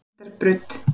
Lindarbraut